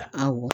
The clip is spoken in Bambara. Awɔ